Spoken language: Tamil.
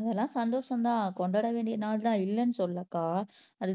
அதெல்லாம் சந்தோஷம்தான் கொண்டாட வேண்டிய நாள்தான் இல்லைன்னு சொல்லக்கா